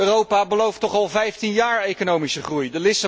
Europa belooft toch al vijftien jaar economische groei.